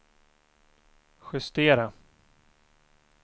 justera